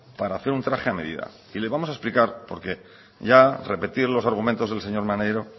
para hacer un traje a medida y le vamos a explicar por qué ya repetir los argumentos del señor maneiro